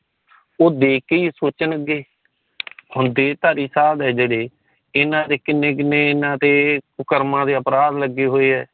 ਉਹ ਦੇਖ ਕੇ ਇਹ ਸੋਚਣ ਗਏ ਹੁਣ ਢੇਰ ਸਾਰੇ ਸਾਦ ਹੈ ਜੇੜੇ ਇਨ੍ਹਾਂ ਨੇ ਕਿਨੇ ਕਿਨੇ ਇਨ੍ਹਾਂ ਦੇ ਕੁਕਰਮਾਂ ਦੇ ਅਪਰਾਧ ਲਗੇ ਹੋਏ ਹੈ